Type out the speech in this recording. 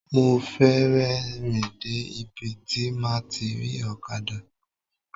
Mo fẹ̀sẹ̀ rìn dé ibi tí máa ti rí ọ̀kadà.